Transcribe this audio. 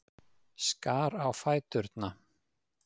Skar á fæturna.